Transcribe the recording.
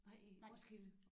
Nej i Roskilde